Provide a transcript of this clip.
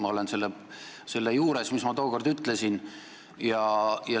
Ma jään selle juurde, mis ma tookord ütlesin.